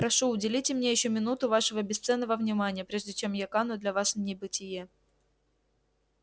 прошу уделите мне ещё минуту вашего бесценного внимания прежде чем я кану для вас в небытие